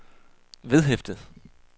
vedhæftet